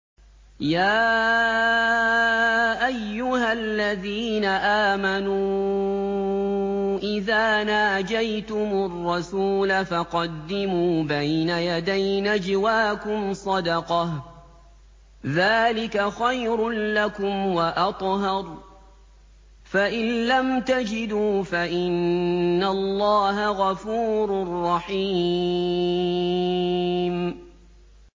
يَا أَيُّهَا الَّذِينَ آمَنُوا إِذَا نَاجَيْتُمُ الرَّسُولَ فَقَدِّمُوا بَيْنَ يَدَيْ نَجْوَاكُمْ صَدَقَةً ۚ ذَٰلِكَ خَيْرٌ لَّكُمْ وَأَطْهَرُ ۚ فَإِن لَّمْ تَجِدُوا فَإِنَّ اللَّهَ غَفُورٌ رَّحِيمٌ